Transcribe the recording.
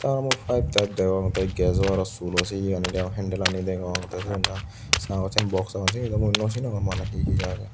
a mui pipe tipe degong te gejo sulo se yegani deong hendelani degong te siyot na sagoj sen box agon sini daw mui naw sinongor mane hi hi agey.